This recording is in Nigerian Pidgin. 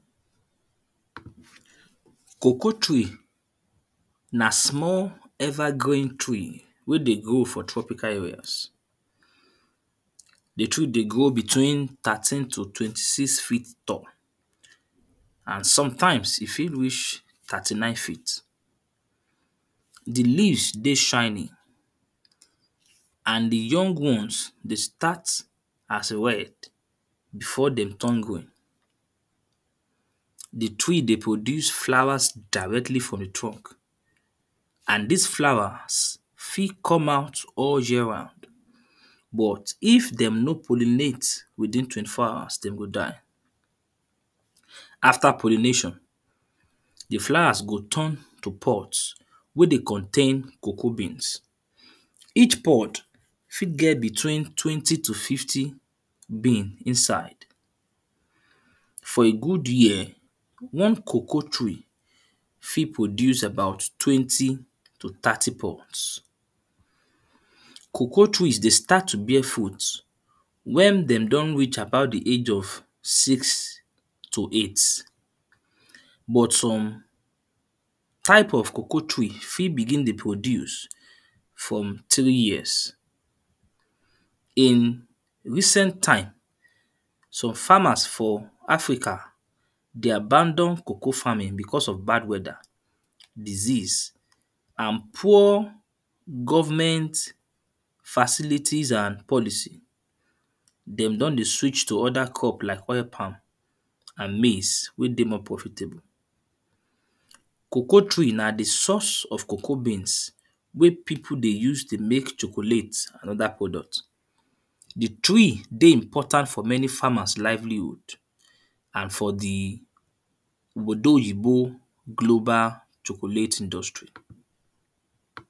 Cocoa tree na small evergreen tree wey dey grow for tropical areas. The tree dey grow between thirteen to twenty six feet tall and sometimes, e fit reach thirty nine feet. The leaves dey shiny and the young ones dey start as red before then turn green. The trees dey produce flowers directly from truck and these flowers fit come out all year round. But, if them nor pollinate within twenty four hours then go die. After pollination, the flowers go turn to pods wey dey contain cocoa beans. Each pod fit get between twenty to fifty bean inside. For a good year, one cocoa tree fit produce about twenty to thirty pods. Cocoa trees dey start to bear fruit when them don reach about the age of six to eight. But some type of cocoa tree fit begin to produce from three years. In recent time, some farmer for Africa they abandon cocoa farming because of bad weather, disease and poor government facilities and policies. Them don dey switch to other crops like oil palm and maize wey dey more profitable. Cocoa tree na the source of cocoa beans wey people dey use dey make chocolate, another product. The tree dey very important for many farmers livelihood and for the obodoyibo global chocolate industry.